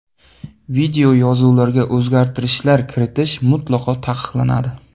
Videoyozuvlarga o‘zgartishlar kiritish mutlaqo taqiqlanadi.